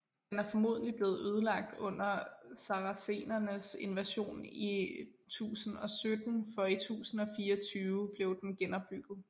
Den er formodentligt blevet ødelagt under saracenernes invasion i 1017 for i 1024 blev den genopbygget